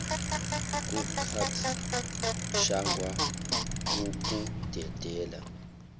kucat shangwa ukudedela